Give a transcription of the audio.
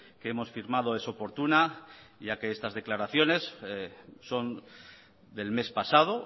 que hemos firmado es oportuna ya que estas declaraciones son del mes pasado